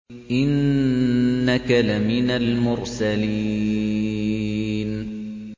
إِنَّكَ لَمِنَ الْمُرْسَلِينَ